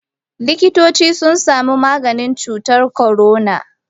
Likitoci sun samu maganin cutar corona.